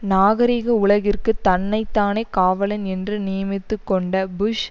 நாகரீக உலகிற்கு தன்னைதானே காவலன் என்று நியமித்துக்கொண்ட புஷ்